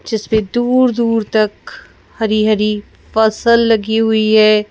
जिसपे दूर-दूर तक हरी-हरी फसल लगी हुई है।